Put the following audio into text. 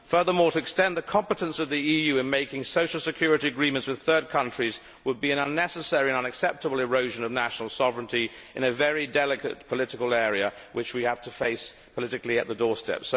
Furthermore, to extend the competence of the EU in making social security agreements with third countries would be an unnecessary and unacceptable erosion of national sovereignty in a very delicate political area and one that we have to address politically on the doorstep.